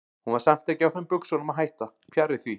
Hún var samt ekki á þeim buxunum að hætta, fjarri því.